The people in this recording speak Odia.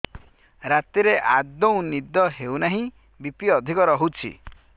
ରାତିରେ ଆଦୌ ନିଦ ହେଉ ନାହିଁ ବି.ପି ଅଧିକ ରହୁଛି